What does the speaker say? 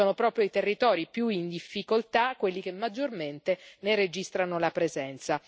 Sono proprio i territori più in difficoltà quelli che maggiormente ne registrano la presenza.